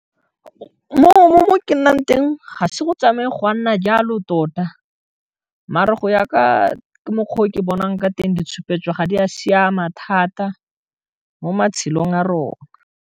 Mo ke nnang teng ga se go tsamaya gwa nna jalo tota mare go ya ka mokgwa o ke bonang ka teng di tshupetso ga di a siama thata mo matshelong a rona.